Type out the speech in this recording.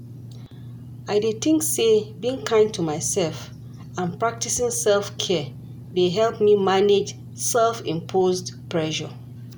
I dey think say being kind to myself and practicing self-care dey help me manage self-imposed pressure.